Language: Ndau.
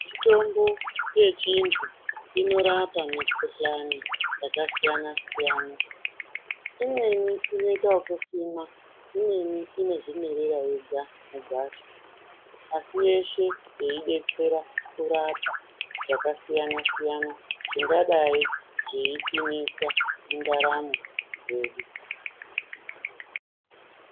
Mitombo yechiantu inorapa mikhuhlani yakasiyana siyana. Imweni inoita okusimwa. Imweni inoita inozvimwerera yega mugwasha. Asi yeshe yeidetetsera kurapa zvakasiyana siyana zvingadai zveitinetsa mundaramo yedu.